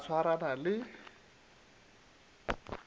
a ba a swarana le